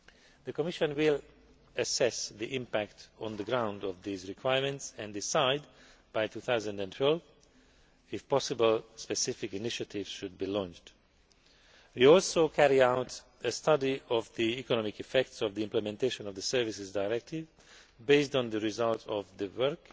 The Commission will assess the impact on the ground of these requirements and decide by 2012, if possible, whether specific initiatives should be launched. We will also carry out a study of the economic effects of the implementation of the Services Directive based on the result of the work